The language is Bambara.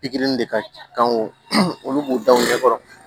Pikiri de ka kan olu b'u da u ɲɛ kɔrɔ